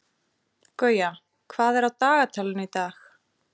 Gauja, hvað er á dagatalinu í dag?